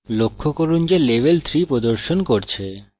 লক্ষ্য করুন যে level 3 প্রদর্শন করছে